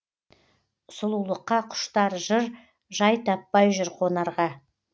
сұлулыққа құштар жыр жай таппай жүр қонарға